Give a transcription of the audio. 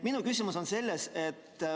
Minu küsimus on selles.